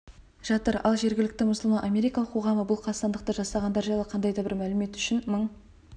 жатыр ал жергілікті мұсылман-америкалық қоғамы бұл қастандықты жасағандар жайлы қандай да бір мәлімет үшін мың